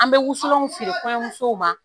An bɛ wusulanw feere kɔɲɔ musow ma